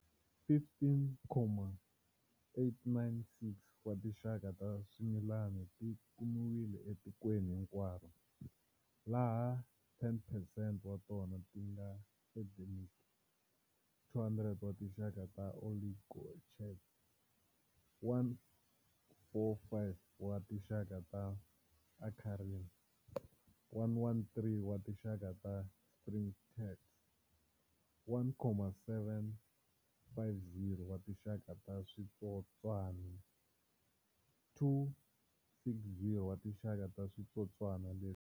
15,986 wa tinxaka ta swimilani ti kumiwile etikweni hinkwaro, laha 10 percent wa tona ti nga endemic, 200 wa tinxaka ta oligochaeta, 145 wa tinxaka ta acarina, 113 wa tinxaka ta springtails, 7,750 wa tinxaka ta switsotswana, 260 wa tinxaka ta switsotswana leswi hahaka.